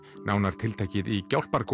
nánar tiltekið í